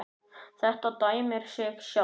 Þetta dæmir sig sjálft.